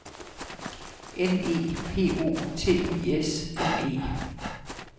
N E P O T I S M E